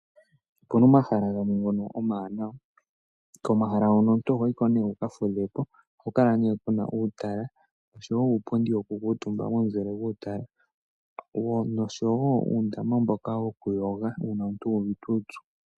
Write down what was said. Opuna omahala gamwe ngono omawanawa komahala hono omuntu ohoyi ko nee wuka fudhe po ohaku kala nee uupundi wokuutumba oshowo uundama mboka woku yoga uuna omuntu uuvite uupyu.